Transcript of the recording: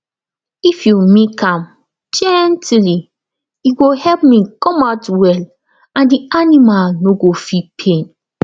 if you milk am gently e go help milk come out well and the animal no go feel pain